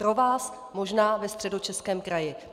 Pro vás možná ve Středočeském kraji.